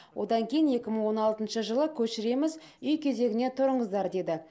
одан кейін екі мың он алтыншы жылы көшіреміз үй кезегіне тұрыңыздар деді